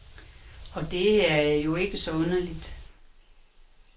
Og det er jo ikke så underligt.